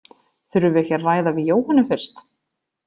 Þurfum við ekki að ræða við Jóhönnu fyrst?